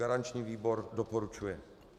Garanční výbor doporučuje.